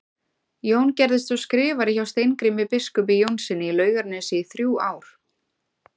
Jón gerðist svo skrifari hjá Steingrími biskupi Jónssyni í Laugarnesi í þrjú ár.